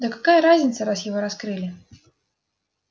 да какая разница раз его раскрыли